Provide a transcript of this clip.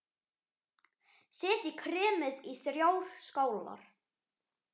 Setjið kremið í þrjár skálar.